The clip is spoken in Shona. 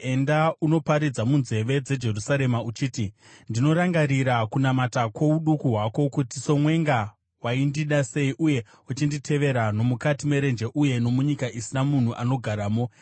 “Enda unoparidza munzeve dzeJerusarema uchiti: “ ‘Ndinorangarira kunamata kwouduku hwako, kuti somwenga waindida sei uye uchinditevera nomukati merenje, uye nomunyika isina munhu anogaramo.